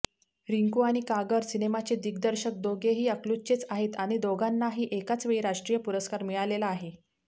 रिंकू आणि कागर सिनेमाचे दिग्दर्शक दोघेही अकलूजचेच आहेत आणि दोघांनाही एकाचवेळी राष्ट्रीय पुरस्कार मिळालेला आहे